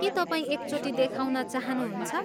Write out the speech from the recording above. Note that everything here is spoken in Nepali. के तपाईँ एकचोटि देखाउन चाहनुहुन्छ?